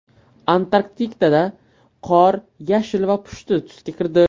Antarktidada qor yashil va pushti tusga kirdi .